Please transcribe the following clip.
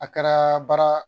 A kɛra baara